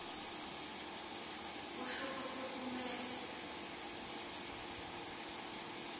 kusho kutsi kumele